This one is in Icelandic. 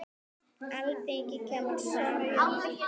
Alþingi kemur saman í dag.